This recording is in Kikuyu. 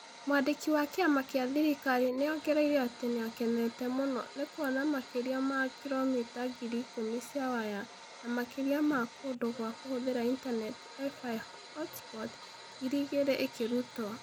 Mwandiki wa kĩama kĩa thirikari nĩ ongereire atĩ nĩ akenete mũno nĩ kuona makĩria ma kilomita ngiri ikũmi cia waya na makĩria ma kũndũ gwa kũhũthĩra Intaneti (Wi-Fi hotspot) ngiri igĩrĩ ikĩrutwo.